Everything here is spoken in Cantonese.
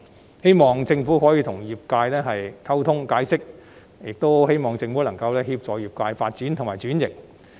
我希望政府可與業界溝通以作解釋，以及能夠協助業界發展和轉型。